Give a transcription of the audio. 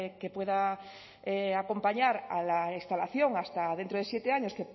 que pueda acompañar a la instalación hasta dentro de siete años